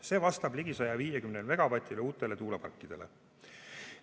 See vastab ligi 150 megavatile uutele tuuleparkidele.